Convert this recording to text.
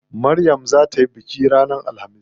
Maryam zaa tayi bikin suna ranar alhamis.